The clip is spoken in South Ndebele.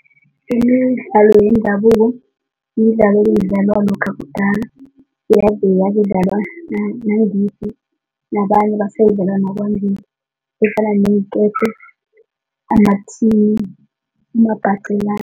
Imidla yendabuko midlalo ebeyidlalwa lokha kudala kudlalwa nangithi nabanye efana neenketo, amathini, umabhaqelana.